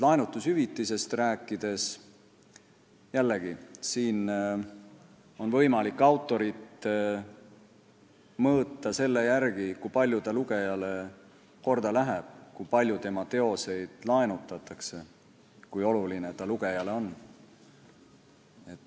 Laenutushüvitisest rääkides, jällegi, siin on võimalik autorit mõõta selle järgi, kui palju ta lugejale korda läheb, kui palju tema teoseid laenutatakse, kui oluline ta rahvale on.